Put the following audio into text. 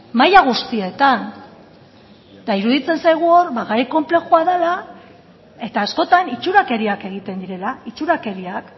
maila guztietan eta iruditzen zaigu hor ba gai konplexua dela eta askotan itxurakeriak egiten direla itxurakeriak